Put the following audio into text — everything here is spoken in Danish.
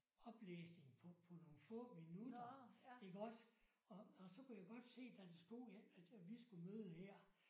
Oplæsning på på nogle få minutter iggås og og så kunne jeg godt se der stod at vi skulle møde her